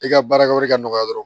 I ka baarakɛyɔrɔ ka nɔgɔ dɔrɔn